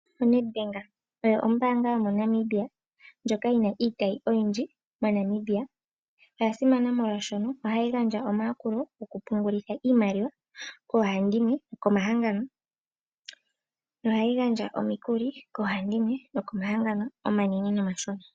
O Nedbank oyo ombaanga yo mo Namibia ndjoka yi na iitayi oyindji mo Namibia. Oya simana molwaashoka ohayi gandja omayakulo gokupungulitha iimaliwa koohandimwe nokomahangano. Nohayi gandja omikuli koohandimwe nokomahangano omanene nomashona.